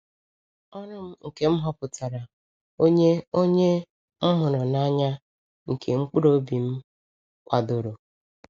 Ọrụ m nke m họpụtara, onye onye m hụrụ n’anya, nke mkpụrụ obi m kwadoro!